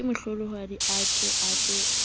kemohlolohadi a ke ke a